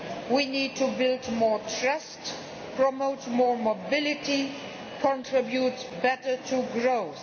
We need to build more trust, promote more mobility and contribute better to growth.